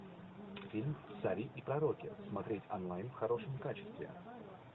фильм цари и пророки смотреть онлайн в хорошем качестве